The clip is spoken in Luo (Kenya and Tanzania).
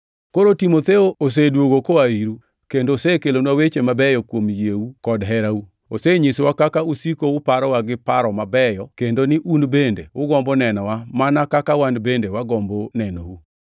Koro Timotheo osedwogo koa iru, kendo osekelonwa weche mabeyo kuom yieu kod herau. Osenyisowa kaka usiko uparowa gi paro mabeyo kendo ni un bende ugombo nenowa mana kaka wan bende wagombo nenou.